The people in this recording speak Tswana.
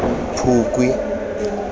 phukwi